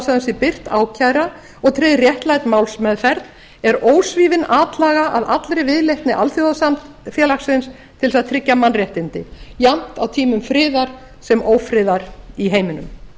sé birt ákæra og tryggð réttlát málsmeðferð er ósvífin atlaga að allri viðleitni alþjóðasamfélagsins til þess að tryggja mannréttindi jafnt á tímum friðar sem ófriðar í heiminum